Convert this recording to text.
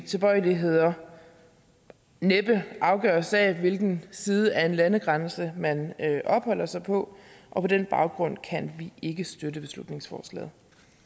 tilbøjeligheder næppe afgøres af hvilken side af en landegrænse man opholder sig på og på den baggrund kan vi ikke støtte beslutningsforslaget